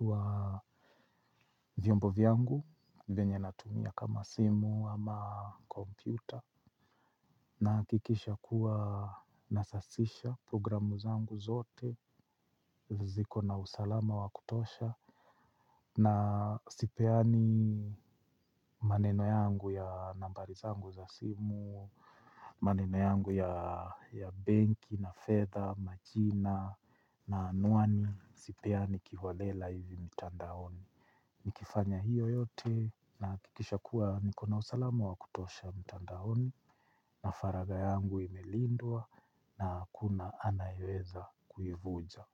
wa vyombo vyangu, venye natumia kama simu ama kompyuta. Nakikisha kuwa nasasisha programu zangu zote, ziko na usalama wakutosha. Na sipeani maneno yangu ya nambari zangu za simu, maneno yangu ya banki, na fedha, majina, na anuani. Sipeani kiholela hivi mitandaoni. Nikifanya hiyo yote nakikisha kuwa nikona usalama wakutosha mitandaoni na faraga yangu imelindua na hakuna anayeweza kuivuja.